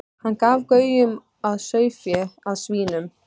Hann gaf gaum að sauðfé, að svínum.